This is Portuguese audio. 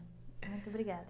Muito obrigada.